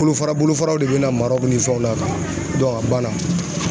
Bolofara bolofaraw de bɛna maraw ni fɛnw na a banna.